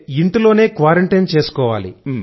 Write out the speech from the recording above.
ఇంట్లోనే క్వారంటైన్ చేసుకోవాలి